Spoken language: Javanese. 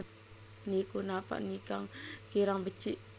Niku napa kirang becik